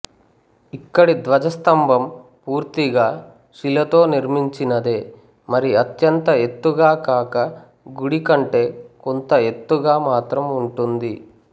ఇక్కడి ధ్వజస్తంభం పూర్తిగా శిలతో నిర్మించినదే మరి అత్యంత ఎత్తుగా కాక గుడికంటే కొంత ఎత్తుగా మాత్రం వుంటుంది